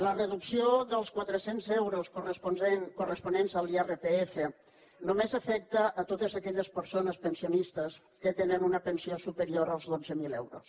la reducció dels quatre cents euros corresponents a l’irpf només afecta totes aquelles persones pensionistes que tenen una pensió superior als dotze mil euros